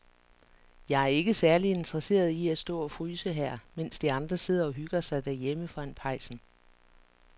Jeg er ikke særlig interesseret i at stå og fryse her, mens de andre sidder og hygger sig derhjemme foran pejsen.